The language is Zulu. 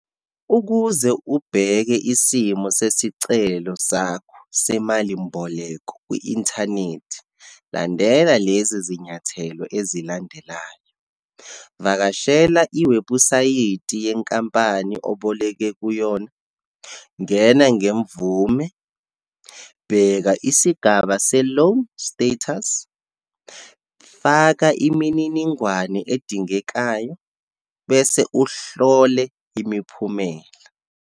Ukuze ubheke isimo sesicelo sakho semalimboleko kwi-inthanethi, landela lezi zinyathelo ezilandelayo. Vakashela iwebhusayithi yenkampani oboleke kuyona, ngena ngemvume, bheka isigaba se-loan status, faka imininingwane edingekayo, bese uhlole imiphumela.